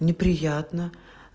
неприятно